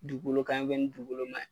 Dukolo ka ɲi ni dukolo man ɲi.